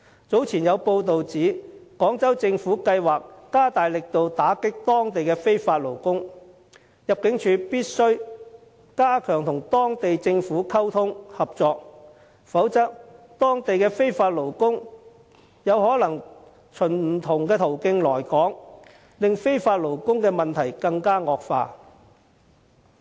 早前有報道指廣州政府計劃加大力度打擊當地的非法勞工，入境處必須加強與當地政府溝通、合作，否則當地的非法勞工有可能循不同途徑來港，令非法勞工的問題惡化。